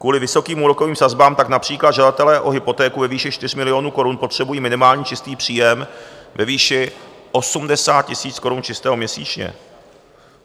Kvůli vysokým úrokovým sazbám tak například žadatelé o hypotéku ve výši 4 milionů korun potřebují minimální čistý příjem ve výši 80 000 korun čistého měsíčně.